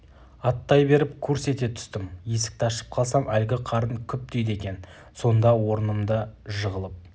аттай беріп курс ете түстім есікті ашып қалсам әлгі қарын күп дейді екен сонда орнымда жығылып